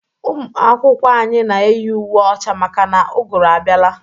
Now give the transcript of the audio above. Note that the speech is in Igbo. Ụmụ akwụkwọ anyị na eyi uwe ọcha maka na ugụrụ abiala.